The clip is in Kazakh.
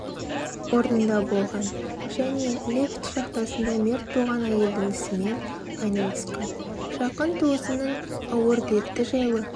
орнында болған және лифт шахтасында мерт болған әйелдің ісімен айналысқан жақын туысының ауыр дерті жайлы